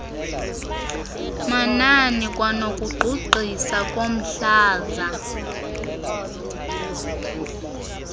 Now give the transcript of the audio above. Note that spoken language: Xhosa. manani kwanokugqugqisa komhlaza